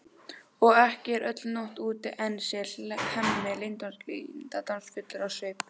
Og ekki er öll nótt úti enn, segir Hemmi leyndardómsfullur á svip.